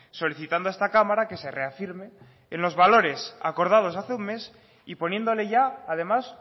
solicitando a esta cámara que se reafirme en los valores acordados hace un mes y poniéndole ya además